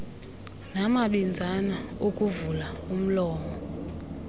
namabinzana okuvula umlomo